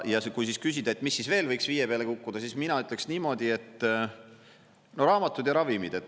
Ja kui siis küsida, et mis siis veel võiks viie peale kukkuda, siis mina ütleksin niimoodi, et no raamatud ja ravimid.